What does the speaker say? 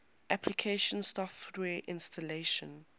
application software installation